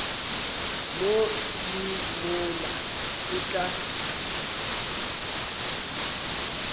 mo le mola o tla